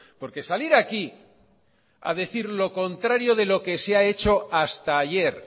porque salir aquí a decir lo contrario de lo que se ha hecho hasta ayer